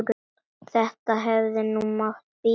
Þetta hefði nú mátt bíða.